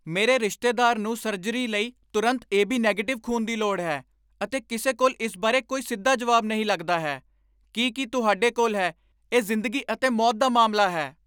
ਮੇਰੇ ਰਿਸ਼ਤੇਦਾਰ ਨੂੰ ਸਰਜਰੀ ਲਈ ਤੁਰੰਤ ਏਬੀ ਨੈਗਟਿਵ ਖ਼ੂਨ ਦੀ ਲੋੜ ਹੈ, ਅਤੇ ਕਿਸੇ ਕੋਲ ਇਸ ਬਾਰੇ ਕੋਈ ਸਿੱਧਾ ਜਵਾਬ ਨਹੀਂ ਲੱਗਦਾ ਹੈ ਕੀ ਕੀ ਤੁਹਾਡੇ ਕੋਲ ਹੈ ਇਹ ਜ਼ਿੰਦਗੀ ਅਤੇ ਮੌਤ ਦਾ ਮਾਮਲਾ ਹੈ!